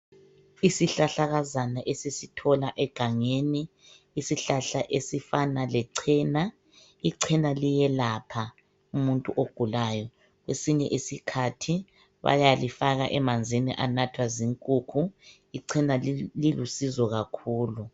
Isihlahlakazana esisithola egangeni .Isihlahla esifana lechena .Ichena liyelapha umuntu ogulayo .Kwesinye isikhathi bayalifaka emanzini anathwa zinkukhu .Ichena Lilusizo kakhulu .